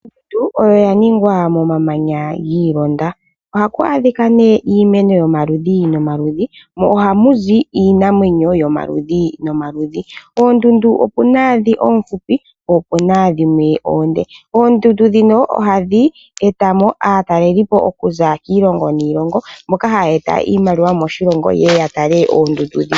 Ondundu oyo oyaningwa momamanya giilonda. Ohaku adhika nee iimeno yomaludhi nomuludhi, mo ohamu zi iinamwenyo yomaludhi nomaludhi. Oondundu okuna dhoka oofupi ko okuna dhimwe oonde. Oondundu dhino ohadhi etamo aatalelipo okuza kiilongo niilongo mboka haya eta iimaliwa moshilongo yeye ya tale oondundu dhika.